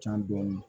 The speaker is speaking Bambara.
Can dɔɔnin